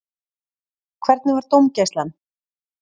Hvernig var dómgæslan?